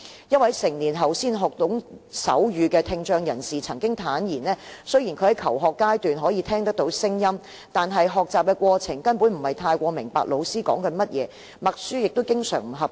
一位成年後才學懂手語的聽障人士曾經坦言，雖然他在求學階段可以聽到聲音，但在學習過程中根本不太明白老師在說甚麼，默書亦經常不及格。